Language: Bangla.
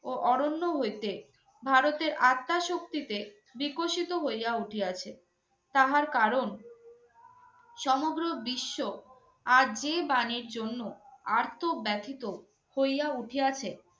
ও অরণ্য হইতে ভারতের আত্মা শক্তিতে বিকশিত হইয়া উঠিয়াছে। তাহার কারণ সমগ্র বিশ্ব আজ যে বাণীর জন্য আর্তব্যথিত হইয়া উঠিয়াছে